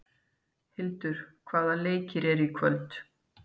Hildur, hvaða leikir eru í kvöld?